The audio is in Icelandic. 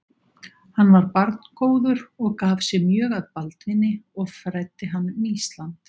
Hann var barngóður og gaf sig mjög að Baldvini og fræddi hann um Ísland.